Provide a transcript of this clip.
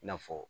I n'a fɔ